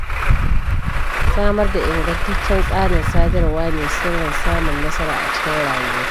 Samarda ingantaccen tsarin sadarwa ne sirrin samun nasara a cikin rayuwa.